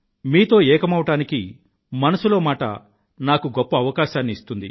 మీతో ఏకమవడానికి మనసులో మాట నాకు గొప్ప అవకాశాన్ని ఇస్తుంది